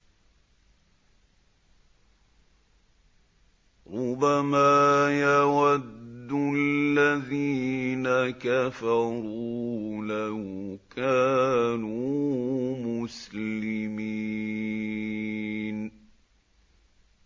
رُّبَمَا يَوَدُّ الَّذِينَ كَفَرُوا لَوْ كَانُوا مُسْلِمِينَ